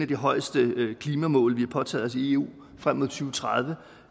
de højeste klimamål vi har påtaget os i eu frem mod to tusind og tredive